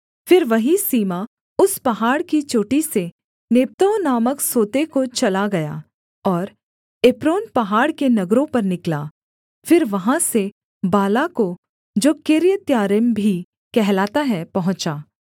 फिर वही सीमा उस पहाड़ की चोटी से नेप्तोह नामक सोते को चला गया और एप्रोन पहाड़ के नगरों पर निकला फिर वहाँ से बाला को जो किर्यत्यारीम भी कहलाता है पहुँचा